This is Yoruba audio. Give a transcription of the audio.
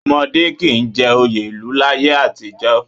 Ọmọdé kì í jẹ oyè ìlú láyé àtijọ́